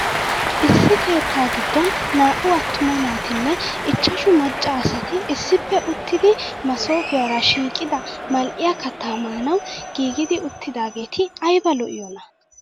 Issi keetta giddon naa"u attuma naatinne ichchashu macca asati issippe uttidi masoofiyaara shiiqida mal'iya kattaa maanaw giigidi uttidaageeti ayiba lo'iyoonaa.